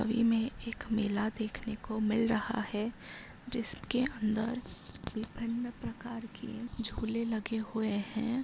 मे एक मेला देखने को मिल रहा है जिसके अंदर विभिन्न प्रकार के झूले लगे हुए हैं।